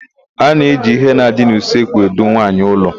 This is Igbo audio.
A na-eji íhé na-adị n'usekwu edu nwaanyị ụlọ.